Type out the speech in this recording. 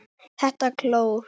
ÞETTA KLÓR!